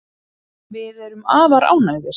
Við erum afar ánægðir